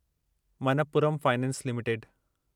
Manappuram finance limited